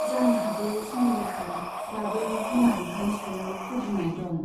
जानो हागौ सुमिलाहा दाबो बिमा बिफानि सायाव खुद्रिनाय दं।